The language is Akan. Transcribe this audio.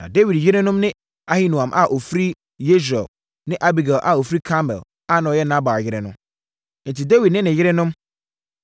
Na Dawid yerenom ne Ahinoam a ɔfiri Yesreel ne Abigail a ɔfiri Karmel a na ɔyɛ Nabal yere no. Enti Dawid ne ne yerenom,